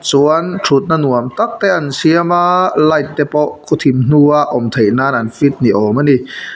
chuan ṭhutna nuam tak te an siam a light te pawh khaw thim hnua awm theih nân an fit ni âwm a ni.